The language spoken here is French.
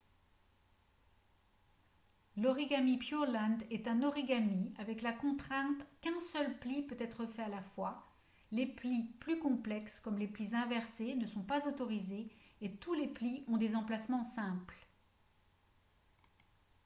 l'origami pureland est un origami avec la contrainte qu'un seul pli peut être fait à la fois les plis plus complexes comme les plis inversés ne sont pas autorisés et tous les plis ont des emplacements simples